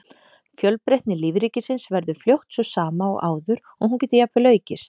Fjölbreytni lífríkisins verður fljótt sú sama og áður og hún getur jafnvel aukist.